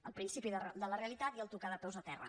el principi de la realitat i tocar de peus a terra